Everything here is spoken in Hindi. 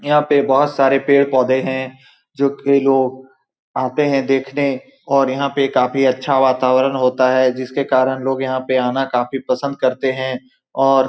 यहाँ पर बहुत सारे पेड़-पौधे है। जो कि लोग आते है देखने के लिए और यहाँ पर काफी अच्छा वातावरण होता है। जिसके कारण लोग यहाँ पर आना काफी पसंद करते हैं और--